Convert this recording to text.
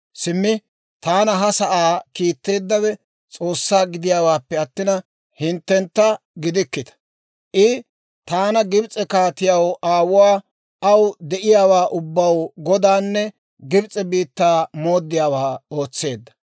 Simmi taana ha sa'aa kiitteeddawe S'oossaa gidiyaawaappe attina, hinttentta gidikkita. I taana Gibs'e kaatiyaw aawuwaa, aw de'iyaawaa ubbaw godanne Gibs'e biittaa mooddiyaawaa ootseedda.